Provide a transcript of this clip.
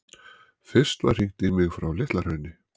Fyrst var hringt í mig frá Litla-Hrauni.